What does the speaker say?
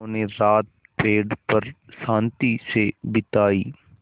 उन्होंने रात पेड़ पर शान्ति से बिताई